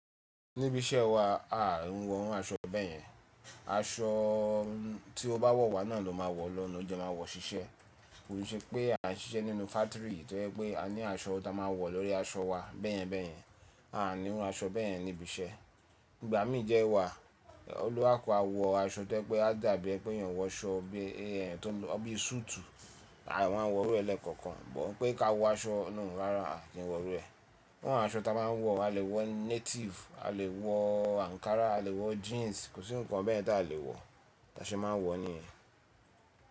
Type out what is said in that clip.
Níbi iṣẹ́ wa, a ò ń wọ irú aṣọ bẹ́yẹn. Aṣọ tí ó bá wọ̀ wá náà ló máa wọ̀ lọ́, ó jẹ máa wọ̀ ṣiṣẹ́. Kò ṣe pé a ń ṣiṣẹ́ nínú fátìrì tó jẹ́ pé a ní aṣọ ta máa wọ̀ lórí aṣọ wa bẹ́ẹ̀yẹn bẹ́ẹ̀yẹn, a ò niru aṣọ bẹ́ẹ̀yẹn níbi iṣẹ́. Ìgbà mí jẹ wà, olùkaluku a wọ aṣọ tó jẹ́ pé a dàbí ẹ pé yàn wọ aṣọ bí i to n lọ bí sùùtù, a máa wọ̀ irú e lẹ́ẹ̀kọ̀kan. But pé ká wọ aṣọ no rárá, a kì n wọ̀ irú e. Irú àwọn aṣọ ta máa n wọ̀, a lè wọ native, a lè wọ ankara, a lè wọ jeans, kò sí ǹkan bẹ́ẹ̀ ti a lè wọ̀ tí a ṣe máa n wọ̀ niyẹn.